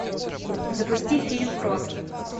запусти фильм крот